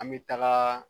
An bɛ taga